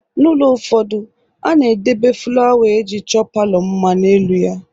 N'ụlọ ụfọdụ, a na-edebe fụlawa e ji chọọ palọ mma n'elu ya.